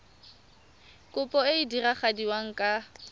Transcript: kopo e e diragadiwa ka